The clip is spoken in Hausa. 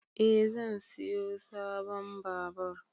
Eh zan siyo sabon babur